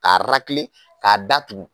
Ka ka da tugu.